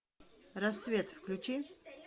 рассвет включи